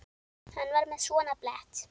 Hann var með svona blett.